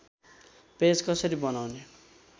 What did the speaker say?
page कसरी बनाउने